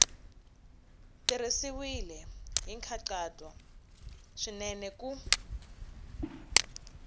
tirhisiwile hi nkhaqato swinene ku